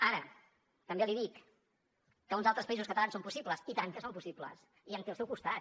ara també l’hi dic que uns altres països catalans són possibles i tant que són possibles i em té al seu costat